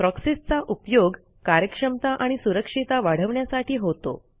proxies चा उपयोग कार्यक्षमता आणि सुरक्षिता वाढवण्यासाठी होतो